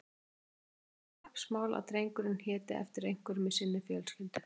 Henni var það kappsmál að drengurinn héti eftir einhverjum í sinni fjölskyldu.